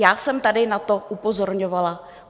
Já jsem tady na to upozorňovala.